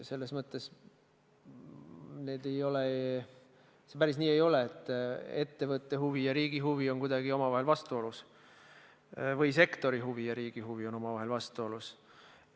Selles mõttes see päris nii ei ole, et ettevõtte huvi ja riigi huvi on kuidagi omavahel vastuolus või sektori huvi ja riigi huvi on omavahel vastuolus.